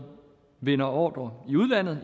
vinder ordrer i udlandet